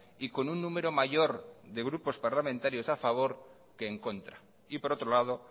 y con un número mayor de parlamentarios a favor que en contra y por otro lado